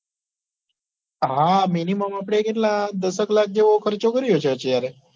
હા minimum આપડે કેટલા દસ એક લાખ જેટલો ખર્ચો કર્યો હશે અત્યારે